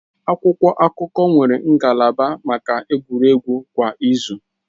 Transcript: Akwụkwọ akụkọ nwere ngalaba maka egwuregwu kwa izu.